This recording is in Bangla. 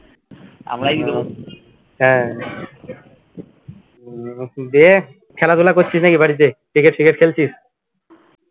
হ্যা উম দে খেলাধুলা করছিস নাকি বাড়িতে ক্রিকেট ত্রিকেট খেলছিস